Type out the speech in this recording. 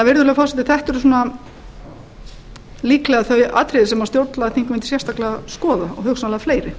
virðulegi forseti þetta eru líklega þau atriði sem stjórnlagaþing mun sérstaklega skoða og hugsanlega fleiri